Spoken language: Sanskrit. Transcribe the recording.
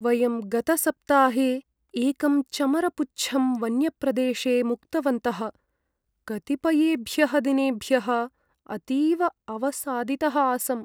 वयं गतसप्ताहे एकम् चमरपुच्छं वन्यप्रदेशे मुक्तवन्तः, कतिपयेभ्यः दिनेभ्यः अतीव अवसादितः आसम्।